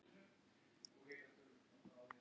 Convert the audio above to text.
Getum við talað um það í smástund?